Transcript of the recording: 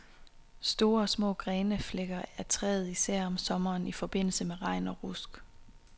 Store og små grene flækker af træet, især om sommeren i forbindelse med regn og rusk.